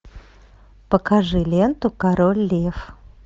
покажи ленту король лев